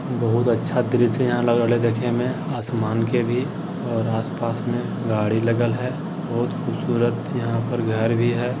बहुत अच्छा दृश्य यहां लग रहले देखे में आसमान के भी और आस-पास में गाड़ी लगल हेय बहुत खूबसूरत यहां पर घर भी है।